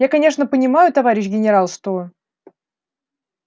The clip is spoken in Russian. я конечно понимаю товарищ генерал что